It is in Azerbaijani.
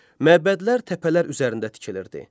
Məbədlər təpələr üzərində tikilirdi.